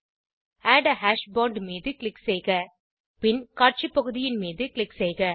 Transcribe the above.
add a hash bond மீது click செய்க பின் காட்சி பகுதியின் மீது க்ளிக் செய்க